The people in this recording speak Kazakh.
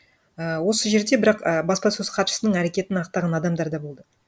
ііі осы жерде бірақ і баспасөз хатшысының әрекетін ақтаған адамдар да болды